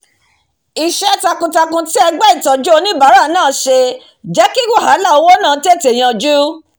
isẹ́ takun takun tí ẹgbẹ́ ìtọ́jú oníbàárà náà se jẹ́ kí wàhálà owó náà tètè yanjú